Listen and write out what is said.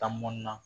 Tani na